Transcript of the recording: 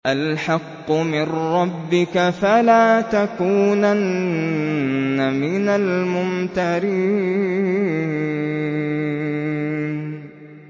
الْحَقُّ مِن رَّبِّكَ ۖ فَلَا تَكُونَنَّ مِنَ الْمُمْتَرِينَ